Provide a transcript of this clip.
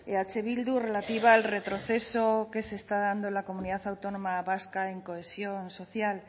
eh bildu relativa al retroceso que se está dando en la comunidad autónoma vasca en cohesión social